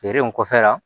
Feere in kɔfɛ la